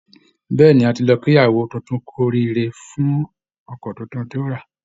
Bẹ́ẹ̀ ni, a ti lọ kí ìyàwó tuntun kú oríire ọkọ̀ tuntun tó ra